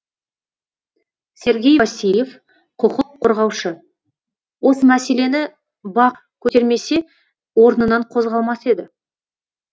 сергей васильев құқық қорғаушы осы мәселені бақ көтермесе орнынан қозғалмас еді